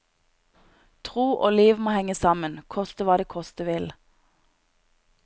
Tro og liv må henge sammen, koste hva det koste vil.